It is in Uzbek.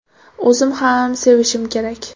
O‘zim ham sevishim kerak.